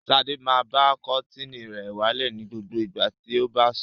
Sadé máa ba kọ́tíínì rẹ̀ wálẹ̀ ní gbogbo ìgbà tí ó bá ń sùn.